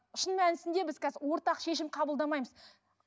шын мәнісінде біз қазір ортақ шешім қабылдамаймыз